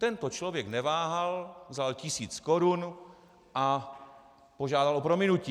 Tento člověk neváhal, vzal tisíc korun a požádal o prominutí.